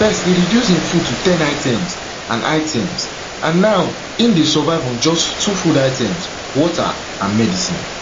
first e reduce im food to ten items and items and now im dey survive on just two food items water and medicine